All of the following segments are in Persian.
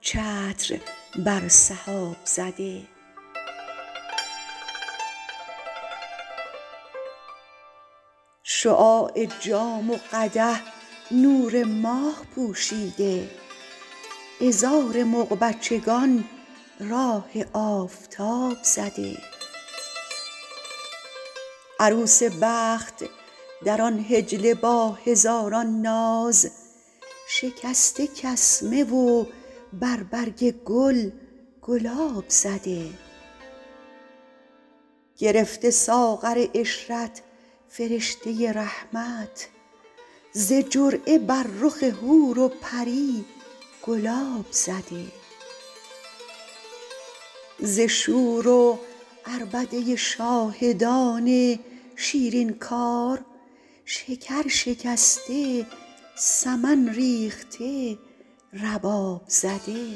چتر بر سحاب زده شعاع جام و قدح نور ماه پوشیده عذار مغ بچگان راه آفتاب زده عروس بخت در آن حجله با هزاران ناز شکسته کسمه و بر برگ گل گلاب زده گرفته ساغر عشرت فرشته رحمت ز جرعه بر رخ حور و پری گلاب زده ز شور و عربده شاهدان شیرین کار شکر شکسته سمن ریخته رباب زده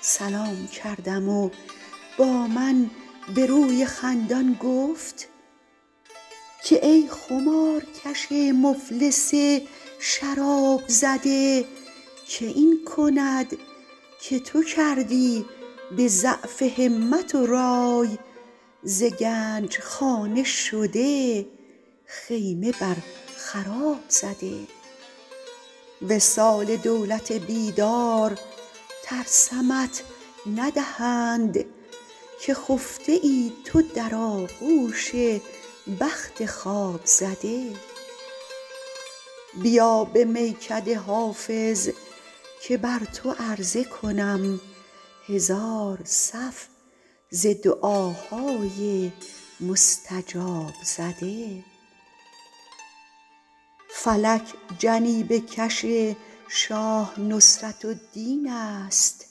سلام کردم و با من به روی خندان گفت که ای خمارکش مفلس شراب زده که این کند که تو کردی به ضعف همت و رای ز گنج خانه شده خیمه بر خراب زده وصال دولت بیدار ترسمت ندهند که خفته ای تو در آغوش بخت خواب زده بیا به میکده حافظ که بر تو عرضه کنم هزار صف ز دعاهای مستجاب زده فلک جنیبه کش شاه نصرت الدین است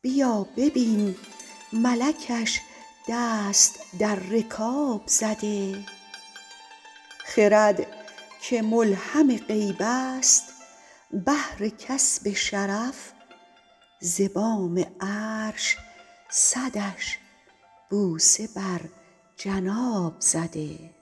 بیا ببین ملکش دست در رکاب زده خرد که ملهم غیب است بهر کسب شرف ز بام عرش صدش بوسه بر جناب زده